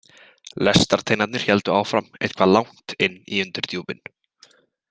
Lestarteinarnir héldu áfram eitthvað langt inn í undirdjúpin.